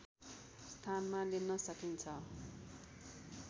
स्थानमा लिन सकिन्छ